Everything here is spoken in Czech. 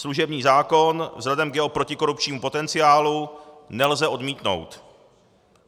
Služební zákon vzhledem k jeho protikorupčnímu potenciálu nelze odmítnout.